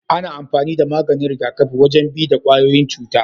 Ana amfani da maganin rigakafi wajen bi da kwayoyin cuta.